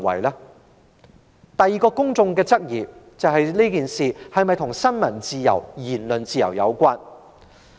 公眾的第二個質疑是，這事是否與新聞自由、言論自由有關？